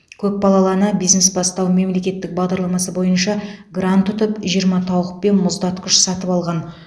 көпбалалы ана бизнес бастау мемлекеттік бағдарламасы бойынша грант ұтып жиырма тауық пен мұздатқыш сатып алған